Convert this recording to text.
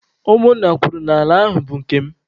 Ụmụ nna kwuru n'ala ahụ bụ nke m.